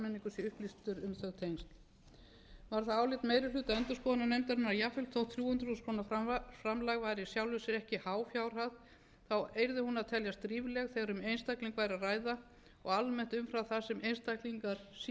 þau tengsl var það álit meiri hluta endurskoðunarnefndarinnar að jafnvel þótt þrjú hundruð þúsund króna framlag væri í sjálfu sér ekki há fjárhæð yrði hún að teljast rífleg þegar um einstakling væri að ræða og almennt umfram það sem einstaklingar séu